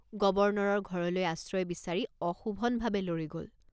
গৱৰ্ণৰৰ ঘৰলৈ আশ্ৰয় বিচাৰি অশোভনভাৱে লৰি গল।